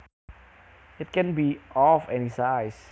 It can be of any size